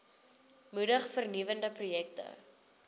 moedig vernuwende projekte